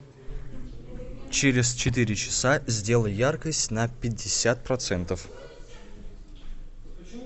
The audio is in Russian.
через четыре часа сделай яркость на пятьдесят процентов